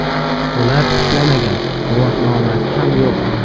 Bular ishlamagan, guvohnomasi ham yo‘q.